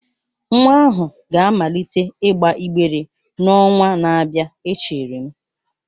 Nwa ahụ ga-amalite ịgba ịgbere n'ọnwa na-abịa echere m